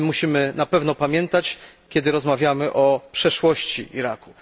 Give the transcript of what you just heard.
O tym musimy na pewno pamiętać, kiedy rozmawiamy o przeszłości Iraku.